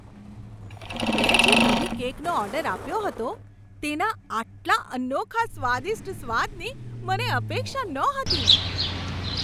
મેં જે નવી કેકનો ઓર્ડર આપ્યો હતો તેના આટલા અનોખા સ્વાદિષ્ટ સ્વાદની મને અપેક્ષા નહોતી!